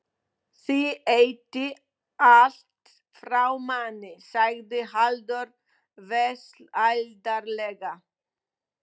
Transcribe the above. Þið étið allt frá manni, sagði Halldór vesældarlega.